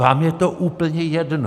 Vám je to úplně jedno!